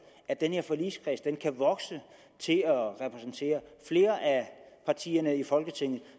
at den her forligskreds kan vokse til at repræsentere flere af partierne i folketinget